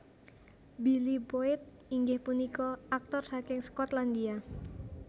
Billy Boyd inggih punika aktor saking Skotlandia